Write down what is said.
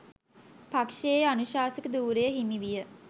පක්ෂයේ අනුශාසක ධුරය හිමි විය.